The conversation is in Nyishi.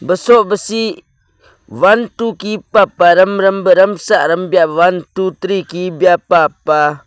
baso baseh one two kepa pah room room bah roomsa rombiya one two three kibiya pa pah.